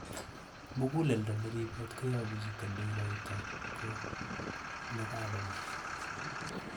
muguleldo neribot koyobu chito noigoitoi ko nekakomee